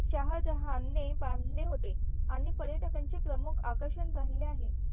शहाजहान बांधले होते आणि पर्यटकांचे प्रमुख आकर्षण बनले आहे